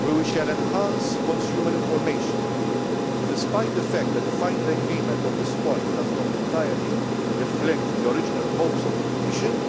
we will enhance consumer information. Despite the fact that the final agreement on this point does not entirely reflect the original hopes of the Commission,